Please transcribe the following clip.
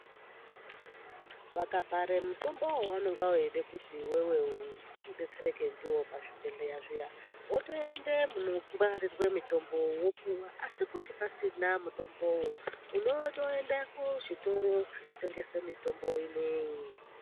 Vakabhare mutombo wavanenge veide kuti iwewe udetsereke ndiwo pazvibhehleya zviya wotoende munongwarirwe mutombo wopuwa asi kuti pasina mutombowo unotoende kuzvitoro zvinotengesa mitombo ineyi .